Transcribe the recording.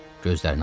Gözlərini açdı.